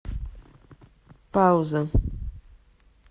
пауза